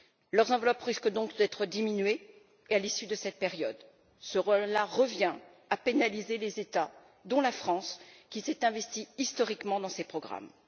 Leurs enveloppes risquent donc d'être diminuées à l'issue de cette période, ce qui revient à pénaliser les États, dont la France, qui se sont investis historiquement dans ces programmes.